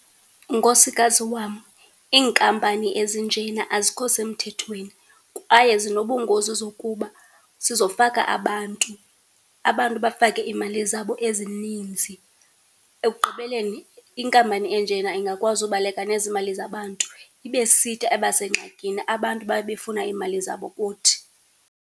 Nkosikazi wam, iinkampani ezinjena azikho semthethweni kwaye zinobungozi zokuba sizofaka abantu, abantu bafake iimali zabo ezininzii. Ekugqibeleni inkampani enjena ingakwazi ubaleka nezi mali zabantu, ibesithi abasengxakini, abantu babe befuna iimali zabo kuthi.